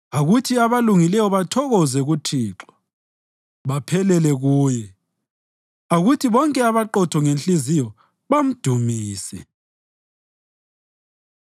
Akuthi abalungileyo bathokoze kuThixo baphephele kuye; akuthi bonke abaqotho ngenhliziyo bamdumise.